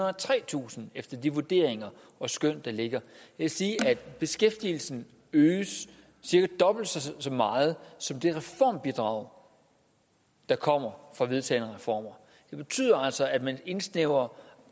og tretusind efter de vurderinger og skøn der ligger det vil sige at beskæftigelsen øges cirka dobbelt så meget som det reformbidrag der kommer fra vedtagne reformer det betyder altså at man indsnævrer